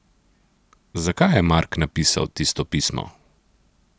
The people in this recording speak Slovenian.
Zakaj je Mark napisal tisto pismo?